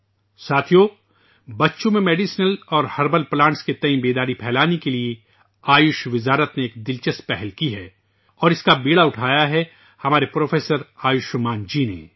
دوستو ، وزارت آیوش نے بچوں میں دواؤں اور جڑی بوٹیوں کے پودوں کے بارے میں آگاہی بڑھانے کے لیے ایک دلچسپ پہل کی ہے اور اس کا بیڑا اٹھایا ہے، ہمارے پروفیسر آیوشمان جی نے